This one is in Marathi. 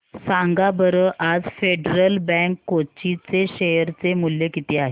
सांगा बरं आज फेडरल बँक कोची चे शेअर चे मूल्य किती आहे